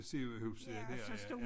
Sæbehuset dér ja ja